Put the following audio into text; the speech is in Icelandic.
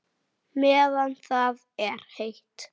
Dugar ykkur ekkert?